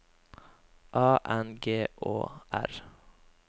A N G Å R